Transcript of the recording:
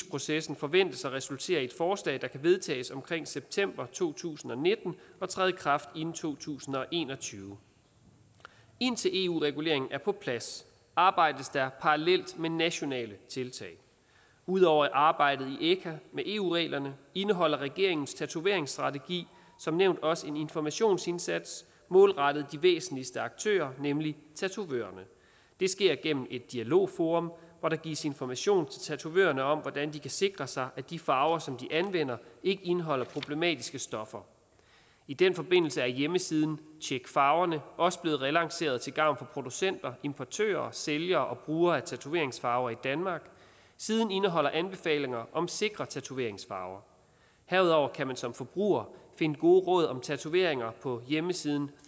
processen forventes at resultere i et forslag der kan vedtages omkring september to tusind og nitten og træde i kraft inden to tusind og en og tyve indtil eu reguleringen er på plads arbejdes der parallelt med nationale tiltag ud over arbejdet i echa med eu reglerne indeholder regeringens tatoveringsstrategi som nævnt også en informationsindsats målrettet de væsentligste aktører nemlig tatovørerne det sker gennem et dialogforum hvor der gives information til tatovørerne om hvordan de kan sikre sig at de farver som de anvender ikke indeholder problematiske stoffer i den forbindelse er hjemmesiden tjekfarvernedk også blevet relanceret til gavn for producenter importører sælgere og brugere af tatoveringsfarver i danmark siden indeholder anbefalinger om sikre tatoveringsfarver herudover kan man som forbruger finde gode råd om tatoveringer på hjemmesiden